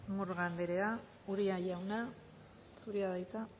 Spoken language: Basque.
murga anderea uria jauna zurea da hitza